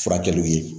Furakɛliw ye